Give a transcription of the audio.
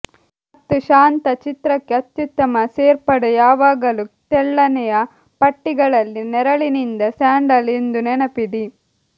ಮತ್ತು ಶಾಂತ ಚಿತ್ರಕ್ಕೆ ಅತ್ಯುತ್ತಮ ಸೇರ್ಪಡೆ ಯಾವಾಗಲೂ ತೆಳ್ಳನೆಯ ಪಟ್ಟಿಗಳಲ್ಲಿ ನೆರಳಿನಿಂದ ಸ್ಯಾಂಡಲ್ ಎಂದು ನೆನಪಿಡಿ